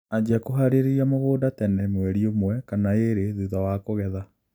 Anjia kũharĩria mũgũnda tene mweli ũmwe kana ĩrĩ thutha wa kũgetha